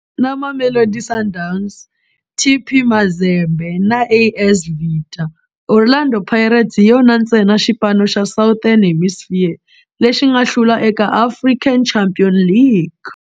Na Mamelodi Sundowns, TP Mazembe na AS Vita, Orlando Pirates hi yona ntsena xipano xa Southern Hemisphere lexi nga hlula eka African Champions League.